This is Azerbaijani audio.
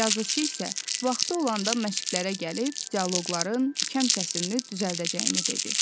Yazıçı isə vaxtı olanda məşqlərə gəlib dialoqların kəm-kəsrini düzəldəcəyini dedi.